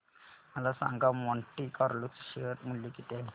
मला सांगा Monte Carlo चे शेअर मूल्य किती आहे